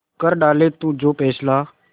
कर डाले तू जो फैसला